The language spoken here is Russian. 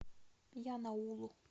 янаулу